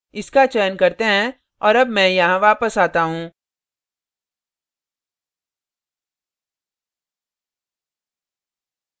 इसका चयन करते हैं और अब मैं यहाँ वापस आता हूँ